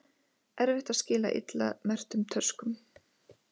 Erfitt að skila illa merktum töskum